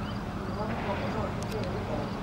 Ruo rwa mũgongo norũcũngĩrĩrio nĩ gũikara ũru